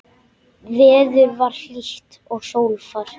Veður var hlýtt og sólfar.